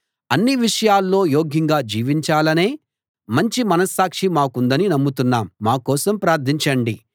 అన్ని విషయాల్లో యోగ్యంగా జీవించాలనే మంచి మనస్సాక్షి మాకుందని నమ్ముతున్నాం మా కోసం ప్రార్ధించండి